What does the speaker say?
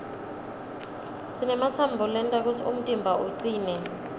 sinematsambo lenta kutsi umtimba ucine